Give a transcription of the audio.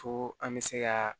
Fo an bɛ se ka